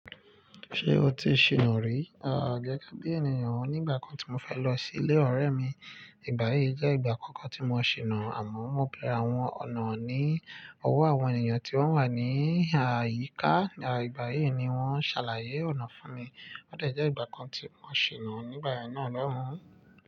Ṣé o ti ṣìnà rí? Àń, gege bi ènìyàn. Nígbà kan tí mo fẹ́ lọ sí ilé ọ̀rẹ́ mi, ìgbà yìí jẹ́ ìgbà àkọ́kọ́ tí mo ṣìnà, àmọ́ mo bẹ̀rẹ̀ àwọn ọ̀nà ní ọwọ́ àwọn ènìyàn tí wọ́n wà ní àyíká. Ìgbà yìí ni wọ́n ṣàlàyé ọ̀nà fún mi. Ó de jẹ́ ìgbà kan tí mo ṣìnà nígbà náà lóhùn.